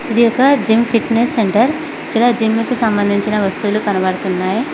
ఇది ఒక gym fitness centre ఇక్కడ జిమ్ముకు సంబంధించిన వస్తువులు కనబడుతున్నాయి.